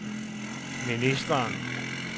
ministeren